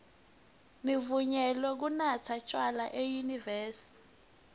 nivunyelwe kunatsa tjwala enyuvesi